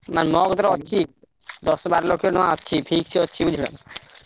ନାଇଁ ମୋ କତିରେ ଅଛି ଦଶ ବାର ଲକ୍ଷ ଟଙ୍କା ଅଛି, fix ଅଛି ବୁଝିଲନା?